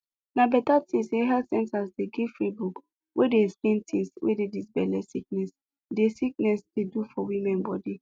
na beta tin say health center dey give free book wey dey explain tins wey dis belle sickness dey sickness dey do for woman bodi